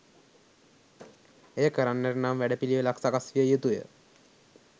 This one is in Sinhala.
එය කරන්නට නම් වැඩ පිළිවෙළක් සකස් විය යුතුය.